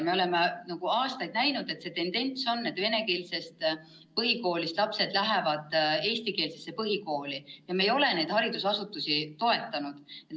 Me oleme aastaid näinud tendentsi, et venekeelsest põhikoolist lähevad lapsed üle eestikeelsesse põhikooli, aga me ei ole neid haridusasutusi toetanud.